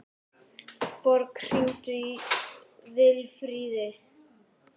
Borg, hringdu í Vilfríði.